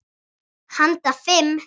Handa fimm